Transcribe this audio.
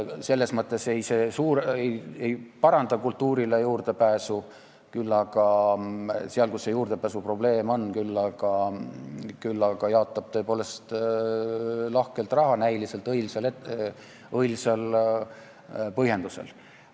Selles mõttes ei paranda see kultuurile juurdepääsu – seal, kus juurdepääsuprobleem on –, küll aga jaotab tõepoolest lahkelt raha näiliselt õilsal põhjendusel.